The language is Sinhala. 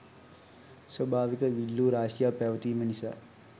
ස්වභාවික විල්ලූ රාශියක් පැවතීම නිසා